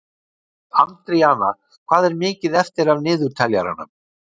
Andríana, hvað er mikið eftir af niðurteljaranum?